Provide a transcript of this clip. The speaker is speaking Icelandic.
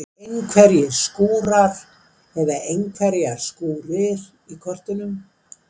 Einhverjir skúrar eða einhverjar skúrir í kortunum?